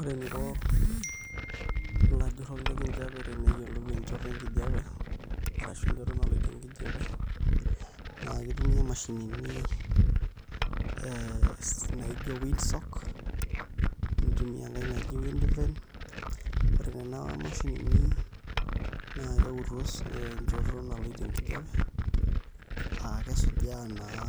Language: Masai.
Ore eninko ilajurrok lenkijiapie teneyiolou enchoto enkijiape arashu enchoto naloito enkijiape naa kitumia imashinini ee naa ijio wind sock nitumia enkai naji windvane, ore nena mashinini naa keutu enchoto naloito enkijiape aa kesujaa naa